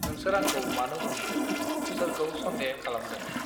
नोंसोर आंखौ मानो हमखोॽ सोरखौ सन्देह खालामदों